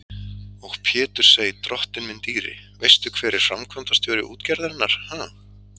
Og Pétursey, drottinn minn dýri, veistu hver er framkvæmdastjóri útgerðarinnar, ha?